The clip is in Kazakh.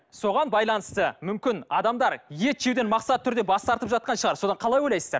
соған байланысты мүмкін адамдар ет жеуден мақсатты түрде бас тартып жатқан шығар содан қалай ойлайсыздар